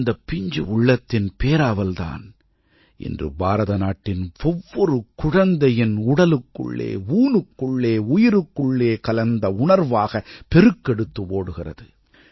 இந்தப் பிஞ்சு உள்ளத்தின் பேராவல் தான் இன்று பாரதநாட்டின் ஒவ்வொரு குழந்தையின் உடலுக்குள்ளே ஊனுக்குள்ளே உயிருக்குள்ளே கலந்த உணர்வாக பெருக்கெடுத்து ஓடுகிறது